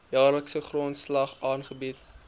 jaarlikse grondslag aangebied